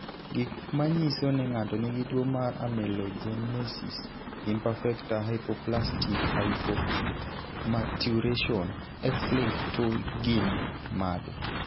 Gik manyiso ni ng'ato nigi tuwo mar Amelogenesis imperfecta, hypoplastic/hypomaturation, X-linked 2 gin mage?